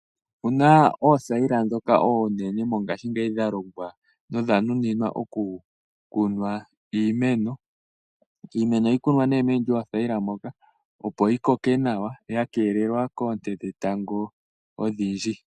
Opuna oothayila ndhoka oonene mongashingeyi dhalongwa okukunwa iimeno. Iimeno ohayi tulwa moothayila moka, opo yi koke nawa ya keelelwa koonte dhetango odhindji.